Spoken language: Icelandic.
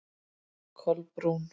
Kolbrún